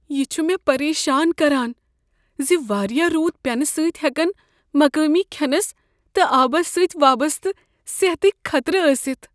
یہِ چھ مےٚ پریشان کران ز واریاہ روٗد پینہٕ سٕتۍ ہٮ۪كن مقٲمی کھینس تہٕ آبس سٕتۍ وابسطہٕ صحتکۍ خطرٕ ٲستھ۔